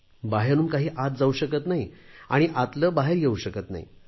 बाहेरून काही आत जाऊ शकत नाही आणि आतले बाहेर येऊ शकत नाही